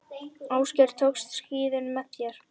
Ásgeir, tókstu skíðin með þér?